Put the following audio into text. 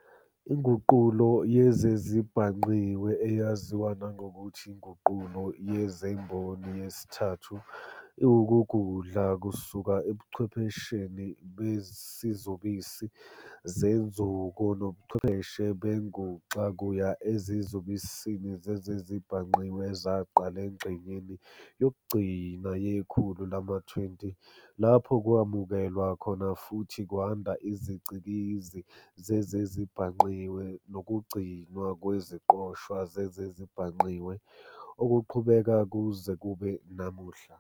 INguqulo yezezibhangqiwe, eyaziwa nangokuthi INguqulo yezeMboni yesithathu, iwukugudla kusuka ebuchwephesheni besizubisi senzuko nobuchwepheshe benguxa kuya ezizubisini zezezibhangqiwe ezaqala engxenyeni yokugcina yekhulu lama-20, lapho kwamukelwa futhi kwanda izicikizi zezezibhangqiwe nokugcinwa kweziqoshwa zezezibhangqiwe, okuqhubeka kuze kube namuhla.